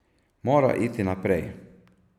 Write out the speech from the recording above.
Mora iti naprej.